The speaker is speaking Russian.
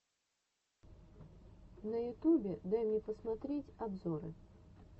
на ютубе дай мне посмотреть обзоры